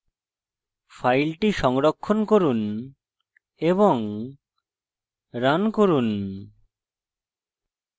file সংরক্ষণ করুন এবং রান করুন